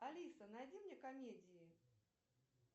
алиса найди мне комедии